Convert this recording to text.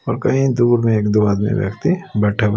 और कहीं दूर में एक दो आदमी व्यक्ति बैठा हुआ--